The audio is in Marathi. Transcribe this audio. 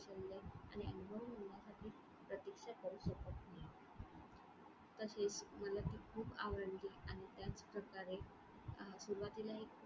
आणि अनुभव मिळण्यासाठी प्रतीक्षा करू तसेच मला ती खूप आवडली आणि त्याचप्रकारे अं सुरवातीला एक.